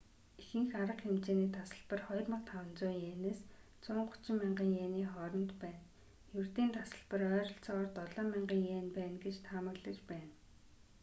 ихэнх арга хэмжээний тасалбар 2,500 иенээс 130,000 иений хооронд байна ердийн тасалбар ойролцоогоор 7,000 иен байна гэж таамаглаж байна